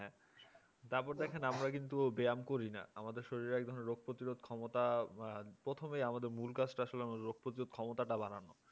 তারপর দেখেন আমরা কিন্তু ব্যায়াম করি না আমাদের শরীরে এক ধরনের রোগ প্রতিরোধ ক্ষমতা প্রথমে আমাদের মূল কাজটা আসলে আমাদের রোগ প্রতিরোধ ক্ষমতা টা বাড়ানো